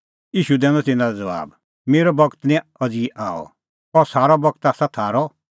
ईशू दैनअ तिन्नां लै ज़बाब मेरअ बगत निं अज़ी आअ अह सारअ बगत आसा थारअ